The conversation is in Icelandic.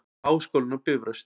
Háskólinn á Bifröst.